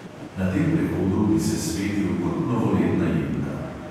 Na tem prehodu bi se svetil kot novoletna jelka.